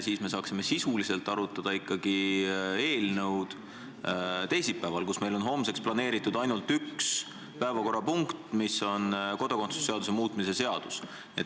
Nii saaksime eelnõu sisuliselt arutada ikkagi teisipäeval, homseks on meil planeeritud ju ainult üks päevakorrapunkt – kodakondsuse seaduse muutmise seadus.